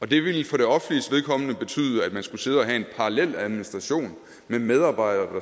det ville for det offentliges vedkommende betyde at man skulle sidde og have en parallel administration med medarbejdere